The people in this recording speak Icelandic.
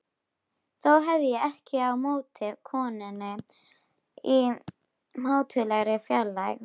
Þó hef ég ekkert á móti konunni í mátulegri fjarlægð.